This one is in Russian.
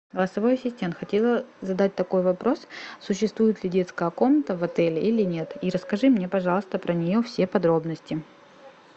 голосовой ассистент хотела задать такой вопрос существует ли детская комната в отеле или нет и расскажи мне пожалуйста про нее все подробности